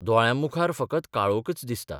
दोळ्यांमुखार फकत काळोकच दिसता....